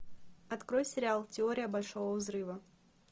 открой сериал теория большого взрыва